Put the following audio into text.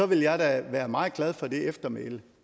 vil jeg da være meget glad for det eftermæle